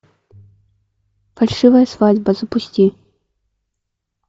фальшивая свадьба запусти